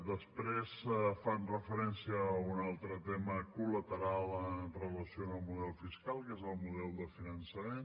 després fan referència a un altre tema col·lateral amb relació al model fiscal que és el model de finançament